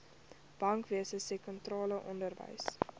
bankwese sektorale onderwys